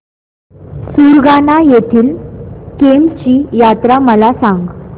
सुरगाणा येथील केम्ब ची यात्रा मला सांग